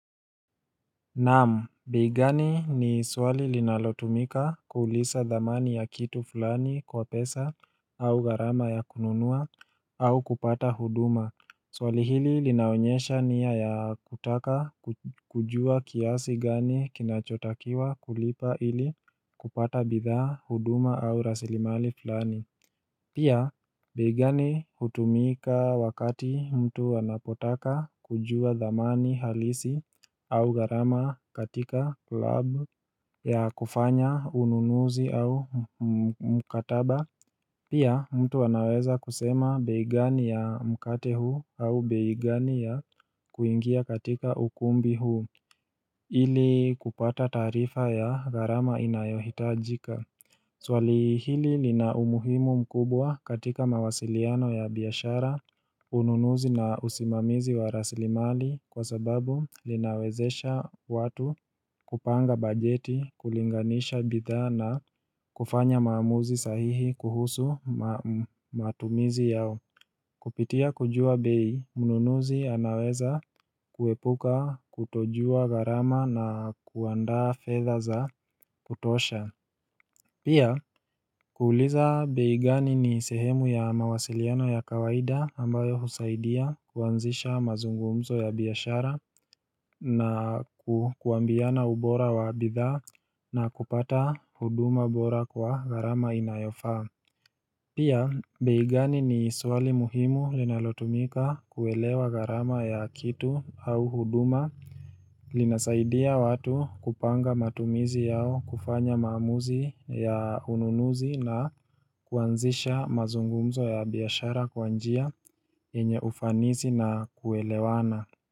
Naam, bei gani ni swali linalotumika kuuliza dhamani ya kitu fulani kwa pesa au gharama ya kununua au kupata huduma Swali hili linaonyesha nia ya kutaka kujua kiasi gani kinachotakiwa kulipa ili kupata bidhaa huduma au rasilimali fulani Pia bei gani hutumika wakati mtu anapotaka kujua dhamani halisi au gharama katika klub ya kufanya ununuzi au mkataba Pia mtu anaweza kusema bei gani ya mkate huu au bei gani ya kuingia katika ukumbi huu ili kupata taarifa ya gharama inayohitajika Swali hili lina umuhimu mkubwa katika mawasiliano ya biashara, ununuzi na usimamizi wa raslimali kwa sababu linawezesha watu kupanga bajeti, kulinganisha bidhaa na kufanya maamuzi sahihi kuhusu matumizi yao. Kupitia kujua bei, mnunuzi anaweza kuepuka, kutojua gharama na kuandaa fedha za kutosha. Pia kuuliza bei gani ni sehemu ya mawasiliano ya kawaida ambayo husaidia kuanzisha mazungumzo ya biashara na kuambiana ubora wa bidhaa na kupata huduma bora kwa gharama inayofaa Pia, bei gani ni swali muhimu linalotumika kuelewa gharama ya kitu au huduma linasaidia watu kupanga matumizi yao kufanya maamuzi ya ununuzi na kuanzisha mazungumzo ya biashara kwa njia yenye ufanisi na kuelewana.